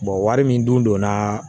wari min dunna